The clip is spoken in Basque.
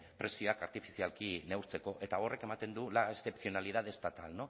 prezioak artifizialki neurtzeko eta horrek ematen du la excepcionalidad estatal